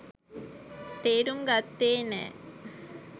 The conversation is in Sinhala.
තේරුම් ගත්තේ නෑ.